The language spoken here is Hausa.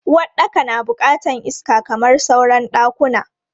Uwaɗɗaka na bukatan iska kamar sauran ɗakuna.